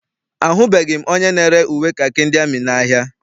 Ahụbeghị m onye na-ere uwe kakị ndị amị n'ahia.